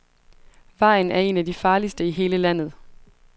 Vejen er en af de farligste i hele landet.